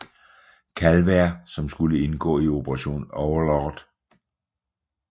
Calvert som skulle indgå i Operation Overlord